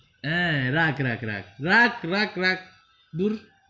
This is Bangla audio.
হ্যা রাখ রাখ রাখ রাখ রাখ রাখ দূর.